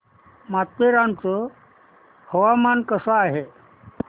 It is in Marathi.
माथेरान चं हवामान कसं आहे